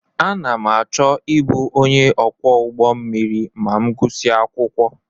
Ana m achọ ịbụ onye ọkwọ ụgbọ mmiri ma m gusia akwụkwọ.